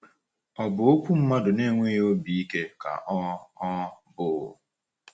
Ọ̀ bụ okwu mmadụ na-enweghị obi ike ka ọ ọ bụ?